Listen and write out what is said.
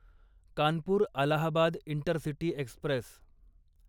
Kanpur Allahabad intercity Express